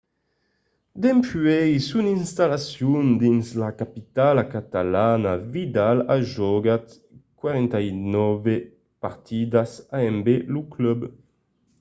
dempuèi son installacion dins la capitala catalana vidal a jogat 49 partidas amb lo club